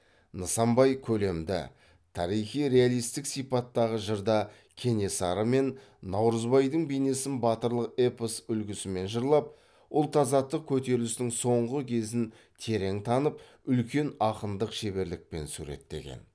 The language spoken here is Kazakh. нысанбай көлемді тарихи реалистік сипаттағы жырда кенесары мен наурызбайдың бейнесін батырлық эпос үлгісімен жырлап ұлт азаттық көтерілістің соңғы кезін терең танып үлкен ақындық шеберлікпен суреттеген